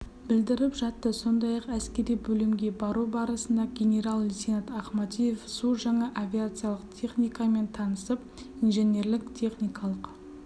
білдіріп жатты сондай-ақ әскери бөлімге бару барысында генерал-лейтенант ахмадиев су жаңа авиациялық техникамен танысып инженерлік-техникалық